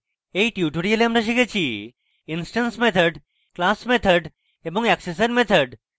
in tutorial আমরা শিখেছি: instance methods class methods এবং অ্যাক্সেসর methods